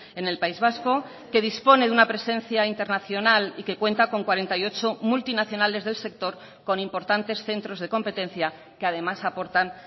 en el país vasco que dispone de una presencia internacional y que cuenta con cuarenta y ocho multinacionales del sector con importantes centros de competencia que además aportan